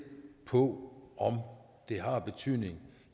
på om det har en betydning